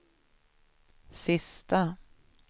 sista